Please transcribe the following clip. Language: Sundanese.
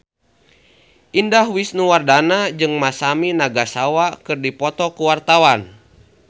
Indah Wisnuwardana jeung Masami Nagasawa keur dipoto ku wartawan